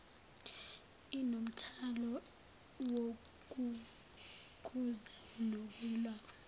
inomthwalo wokukhuza nokulawula